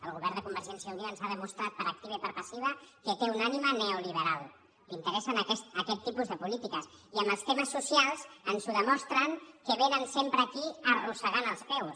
el govern de convergència i unió ens ha demostrat per activa i per passiva que té una ànima neoliberal li in·teressen aquest tipus de polítiques i amb els temes so·cials ens ho demostren que vénen sempre aquí arros·segant els peus